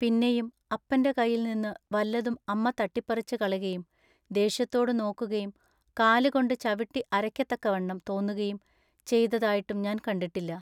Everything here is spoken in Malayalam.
പിന്നെയും അപ്പന്റെ കയ്യിൽനിന്നു വല്ലതും അമ്മ തട്ടിപ്പറിച്ചുകളകയും ദേഷ്യത്തോടു നോക്കുകയും കാലുകൊണ്ടു ചവിട്ടി അരയ്ക്കത്തക്കവണ്ണം തോന്നുകയും ചെയ്തുതായിട്ടും ഞാൻ കണ്ടിട്ടില്ലാ.